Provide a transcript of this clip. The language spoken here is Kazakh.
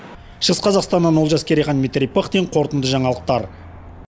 шығыс қазақстаннан олжас керейхан дмитрий пыхтин қорытынды жаңалықтар